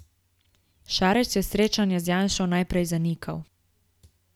Šarec je srečanja z Janšo najprej zanikal.